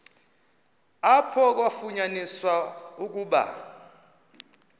apho kwafunyaniswa ukuba